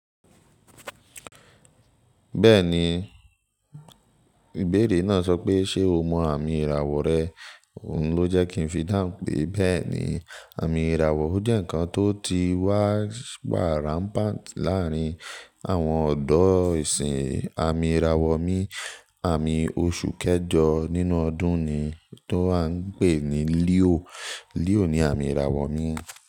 Bẹ́ẹ̀ni, ìbéèrè náà sọ pé ṣe o mọ àmì ìràwọ̀ rẹ? Òun ló jẹ́ kí n fi dáhùn pé bẹ́ẹ̀ni, àmì ìràwọ̀ jẹ́ ǹkan tó ti wá bá ráńpà láàárín àwọn ọ̀dọ́ ìsìn. Àmì ìràwọ̀ mi, àmì oṣù kẹjọ nínú ọdún ni tó à ń pè ní Leo. Leo ni àmì ìràwọ̀ mi.